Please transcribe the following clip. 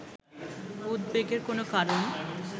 উদ্বেগের কোনও কারণ